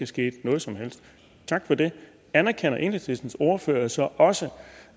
sket noget som helst tak for det anerkender enhedslistens ordfører så også